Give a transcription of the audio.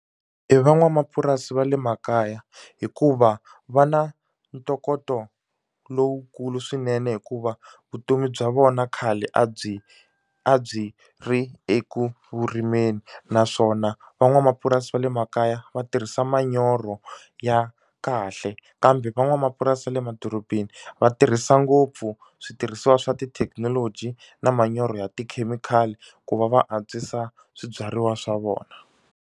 I van'wamapurasi va le makaya hikuva va na ntokoto lowukulu swinene hikuva vutomi bya vona khale a byi a byi ri ekurimeni naswona van'wamapurasi purasi va le makaya va tirhisa manyoro ya kahle kambe van'wamapurasi va le madorobeni va tirhisa ngopfu switirhisiwa swa tithekinoloji na manyoro ya tikhemikhali ku va va antswisa swibyariwa swa vona.